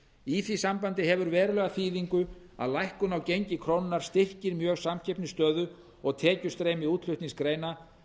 í því sambandi hefur verulega þýðingu að lækkun á gengi krónunnar styrkir mjög samkeppnisstöðu og tekjustreymi útflutningsgreina